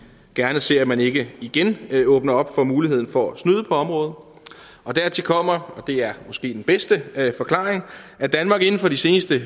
gerne ser at man ikke igen åbner for muligheden for at snyde på området dertil kommer og det er måske den bedste forklaring at danmark inden for de seneste